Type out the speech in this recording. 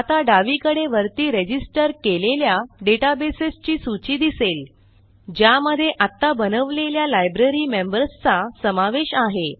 आता डावीकडे वरती रजिस्टर केलेल्या डेटाबेस ची सूची दिसेल ज्यामध्ये आत्ता बनवलेल्या लायब्ररीमेंबर्स चा समावेश आहे